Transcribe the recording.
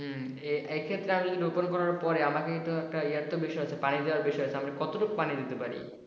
হম এ এক্ষেত্রে আমি রোপণ করার পরে আমাকে তো একটা ইয়ে দেওয়ার বিষয় আছে পানি দেওয়ার বিষয় আছে, আমি কতটুকু পানি দিতে পারি?